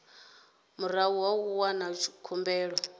murahu ha u wana khumbelo